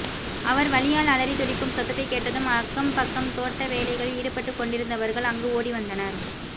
அவர் வலியால் அலறி துடிக்கும் சத்தத்தை கேட்டதும் அக்கம் பக்கம் தோட்ட வேலைகளில் ஈடுபட்டுக் கொண்டிருந்தவர்கள் அங்கு ஓடிவந்தனர்